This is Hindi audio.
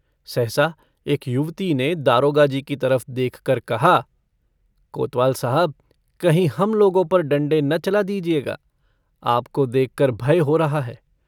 सहसा एक युवती ने दारोगाजी की तरफ देखकर कहा - कोतवाल साहब कहीं हम लोगों पर डण्डे न चला दीजिएगा। आपको देखकर भय हो रहा है।